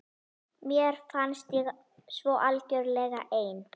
Mér fannst ég svo algjörlega ein.